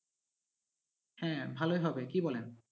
হ্যাঁ ভালোই হবে কি বলেন?